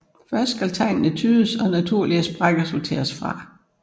Først skal tegnene tydes og naturlige sprækker sorteres fra